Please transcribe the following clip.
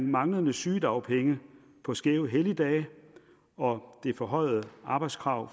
manglende sygedagpenge på skæve helligdage og det forhøjede arbejdskrav